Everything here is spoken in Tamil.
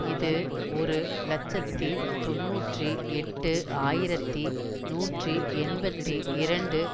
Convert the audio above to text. இது ஒரு இலட்சத்தி தொன்னூற்றி எட்டு ஆயிரத்தி நூற்றி எண்பத்தி இரண்டு